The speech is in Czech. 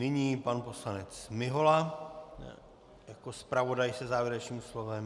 Nyní pan poslanec Mihola jako zpravodaj se závěrečným slovem.